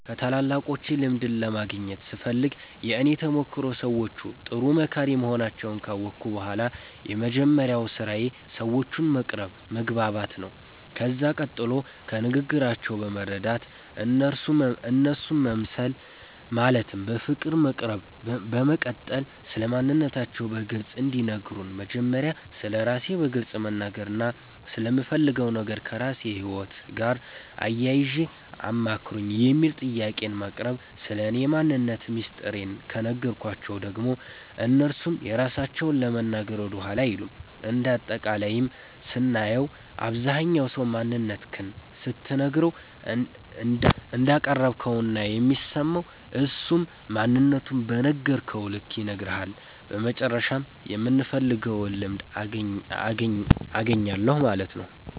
ከታላላቆቼ ልምድን ለማግኘት ስፈልግ የእኔ ተሞክሮ ሰዎቹ ጥሩ መካሪ መሆናቸዉን ካወቅሁ በኋላ የመጀመሪያዉ ስራዬ ሰዎቹን መቅረብ መግባባት ነዉ ከዛ ቀጥሎ ከንግግራቸዉ በመረዳት እነርሱ መምሰል ማለትም በፍቅር መቅረብ በመቀጠል ስለማንነታቸዉ በግልፅ እንዲነግሩን መጀመሪያ ስለራሴ በግልፅ መናገርና ስለምፈልገዉ ነገር ከራስዎ ህይወት ጋር አያይዘዉ አማክሩኝ የሚል ጥያቄን ማቅረብ ስለኔ ማንነት ሚስጥሬን ከነገርኳቸዉ ደግሞ እነርሱም የራሳቸዉን ለመናገር ወደኋላ አይሉም እንደ አጠቃላይም ስናየዉ አብዛኝ ሰዉ ማንነትክን ስትነግረዉ እንዳቀረብከዉ ነዉና የሚሰማዉ እሱም ማንነቱን በነገርከዉ ልክ ይነግርሀል በመጨረሻም የምፈልገዉን ልምድ አገኛለሁ ማለት ነዉ።